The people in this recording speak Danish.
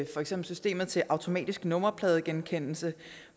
for eksempel systemet til automatisk nummerpladegenkendelse